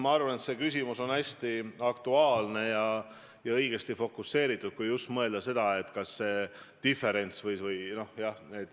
Ma arvan, et see küsimus on hästi aktuaalne ja õigesti fokuseeritud, kui mõelda sellele, et see diferents on nii suur.